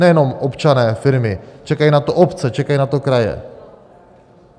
Nejenom občané, firmy, čekají na to obce, čekají na to kraje.